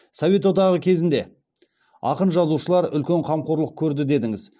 совет одағы кезінде ақын жазушылар үлкен қамқорлық көрді дедіңіз